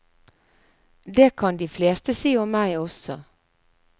Det kan de fleste si om meg også.